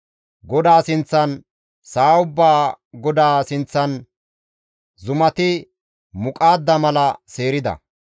GODAA sinththan, sa7a ubbaa Godaa sinththan zumati muqaadda mala seerida.